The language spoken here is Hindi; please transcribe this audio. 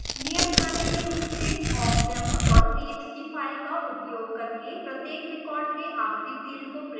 नियत कार्य के रूप मेंawkdemo txt फाइल का उपयोग करके प्रत्येक रिकॉर्ड के आखिरी फिल्ड को प्रिंट करने के लिए एक awk प्रोग्राम लिखें